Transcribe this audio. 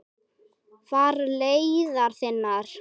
Far leiðar þinnar.